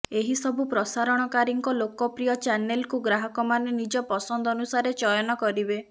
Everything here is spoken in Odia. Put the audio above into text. ଏହି ସବୁ ପ୍ରସାରଣକାରୀଙ୍କ ଲୋକପ୍ରିୟ ଚ୍ୟାନେଲ୍କୁ ଗ୍ରାହକମାନେ ନିଜ ପସନ୍ଦ ଅନୁସାରେ ଚୟନ କରିବେ